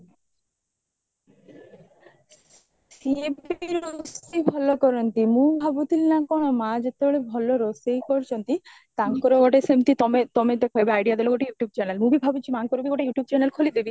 ସିଏବି ରୋଷେଇ ଭଲ କରନ୍ତି ମୁଁ ଭାବୁଥିଲି ନା କଣ ମା ଯେତେବେଳେ ରୋଷେଇ କରୁଚନ୍ତି ତାଙ୍କର ଗିତେ ସେମତି ତମେ ତମେ ତ ଆଇଡିୟା ଦେଲା ଗୋଟେ youtube channel ମୁଁ ବି ଭାବୁଚି ମାଙ୍କରବି ଗୋଟେ youtube channel ଖୋଲିଦେବି